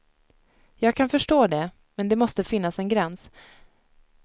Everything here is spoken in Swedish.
Jag kan förstå det, men det måste finnas en gräns.